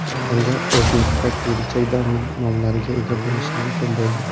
Endi O‘znetda kirillcha domen nomlariga ega bo‘lish mumkin bo‘ldi.